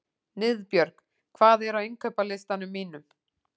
Niðbjörg, hvað er á innkaupalistanum mínum?